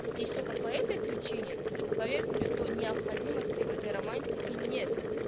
есть только по этой причине поверьте на то необходимости в этой романтики нет